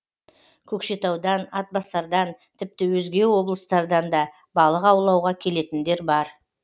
көкшетаудан атбасардан тіпті өзге облыстардан да балық аулауға келетіндер бар